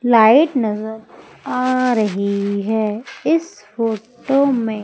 light नजर आ रही है इस फोटो में--